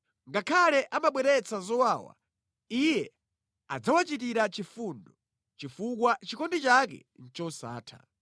Ngakhale amabweretsa zowawa, Iye adzawachitira chifundo, chifukwa chikondi chake ndi chosatha.